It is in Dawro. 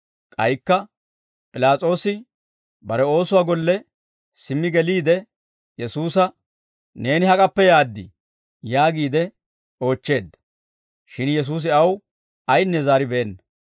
K'aykka P'ilaas'oosi bare oosuwaa golle simmi geliide Yesuusa, «Neeni hak'appe yaaddii?» yaagiide oochcheedda; shin Yesuusi aw aynne zaaribeenna.